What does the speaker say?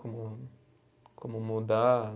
Como, como mudar.